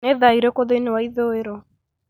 nĩ thaa irĩkũ thĩinĩ wa ithũĩro